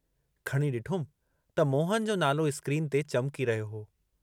खणी ॾिठुमि त मोहन जो नालो स्क्रीन ते चमकी रहियो हो।